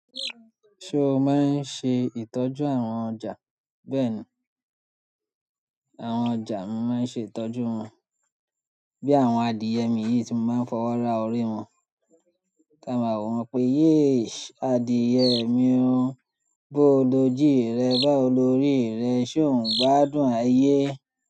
Ṣé o máa ń ṣe ìtọ́jú àwọn ọjà? Bẹ́ẹ̀ni, àwọn ọjà mi máa ń ṣe ìtọ́jú wọn bí àwọn adìyẹ mi yìí tí mo máa ń fọwọ́ ra orí wọn. Tí a mọ̀ wọ́n pé, yé adìyẹ mi o, bó o lójú rẹ̀, bá o lórí rẹ̀, ṣó ń gbádùn ayé?